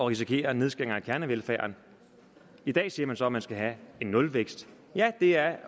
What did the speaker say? risikere nedskæringer i kernevelfærden i dag siger man så at man skal have en nulvækst ja det er